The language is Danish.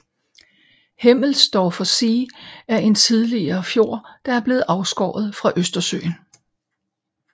Hemmelsdorfer See er en tidligere fjord der er blevet afskåret fra Østersøen